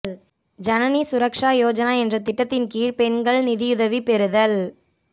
ஜனனி சுரக்ஷா யோஜனா என்ற திட்டத்தின் கீழ் பெண்கள் நிதியுதவி பெறுதல்